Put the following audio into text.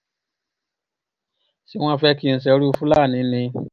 ṣé wọ́n fẹ́ kí n ṣerú fúlàní ni